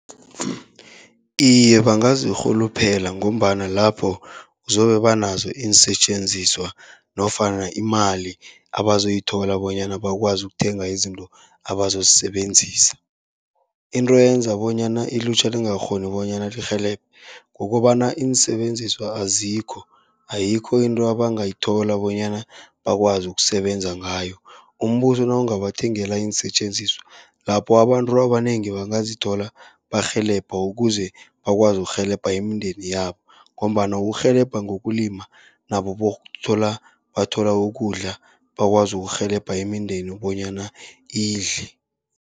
Iye, bangazirhuluphela ngombana lapho zobe banazo iinsetjenziswa nofana imali abazoyithola, bonyana bakwazi ukuthenga izinto abazozisebenzisa. Into eyenza bonyana ilutjha lingakghoni bonyana lirhelebhe, kukobana iinsebenziswa azikho, ayikho into abangayithola bonyana bakwazi ukusebenza ngayo. Umbuso nawungabathengela iinsetjenziswa lapho abantu abanengi bangazithola barhelebha, ukuze bakwazi ukurhelebha imindeni yabo. Ngombana ukurhelebha ngokulima nabo bokuthola bathola ukudla, bakwazi ukurhelebha imindeni bonyana idle.